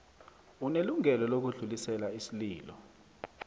unelungelo lokudlulisela isililo